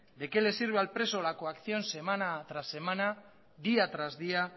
de qué le sirve al preso la coacción semana tras semana día tras día